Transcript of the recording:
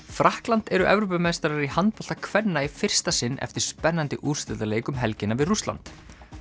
Frakkland eru Evrópumeistarar í handbolta kvenna í fyrsta sinn eftir spennandi úrslitaleik um helgina við Rússland